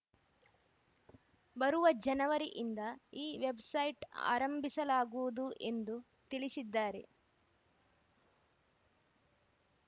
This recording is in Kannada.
ಬರುವ ಜನವರಿಯಿಂದ ಈ ವೆಬ್‌ಸೈಟ್‌ ಆರಂಭಿಸಲಾಗುವುದು ಎಂದು ತಿಳಿಸಿದ್ದಾರೆ